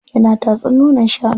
Yana tatsar nonon shanu.